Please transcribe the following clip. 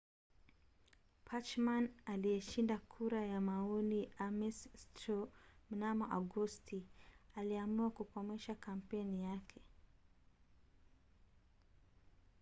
bachmann aliyeshinda kura ya maoni ya ames straw mnamo agosti aliamua kukomesha kampeni yake